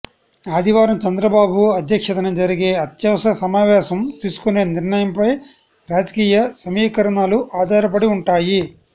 ఆదివారం చంద్రబాబు అధ్యక్షతన జరిగే అత్యవసర సమావేశం తీసుకునే నిర్ణయంపై రాజకీయ సమీకరణలు ఆధారపడి ఉంటాయి